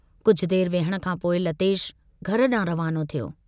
कुझ देर विहण खांपोइ लतेश घर डांहुं रवानो थियो।